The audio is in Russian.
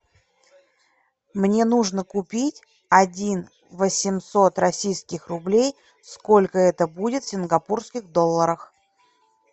мне нужно купить один восемьсот российских рублей сколько это будет в сингапурских долларах